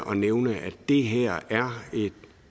nævne det et